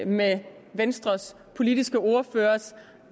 med venstres politiske ordførers